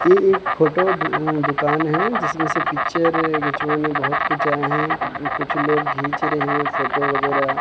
ये एक फोटो दु दुकान है जिसमें से पिक्चर खिंचवाने बहुत कुछ आए हैं कुछ लोग खींच रहे हैं फोटो वगैरह।